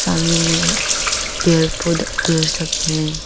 सामने में पेड़ पौधा पेड़ सब हैं।